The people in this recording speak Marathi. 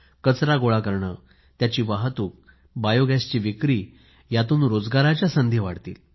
कचरा गोळा करणे त्याची वाहतूक बायोगॅसची विक्री यातून रोजगाराच्या संधी वाढतील